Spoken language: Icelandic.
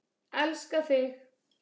Elska þig!